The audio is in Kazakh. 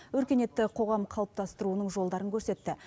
өркениетті қоғам қалыптастыруының жолдарын көрсетті